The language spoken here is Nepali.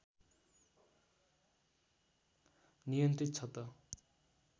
नियन्त्रित छ त